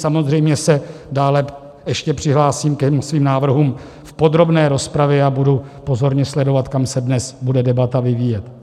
Samozřejmě se dále ještě přihlásím ke svým návrhům v podrobné rozpravě a budu pozorně sledovat, kam se dnes bude debata vyvíjet.